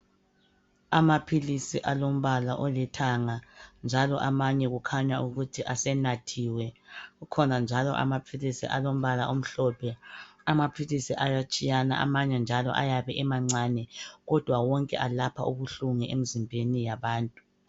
Amaphilisi alombala olithanga njalo amanye kukhanya ukuthi asenathiwe. Kukhona njalo amaphilisi alombala omhlophe. Amaphilisi ayatshiyana kodwa njalo amanye ayabe emancane kodwa alapha ubuhlungu emzimbeni yabantu.